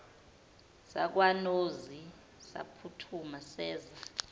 sakwanozi saphuthuma seza